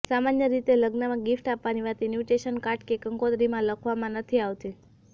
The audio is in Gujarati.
સામાન્ય રીતે લગ્નમાં ગિફ્ટ આપવાની વાત ઇન્વિટેશન કાર્ડ કે કંકોત્રીમાં લખવામાં નથી આવતી